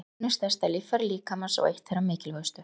Húðin er stærsta líffæri líkamans og eitt þeirra mikilvægustu.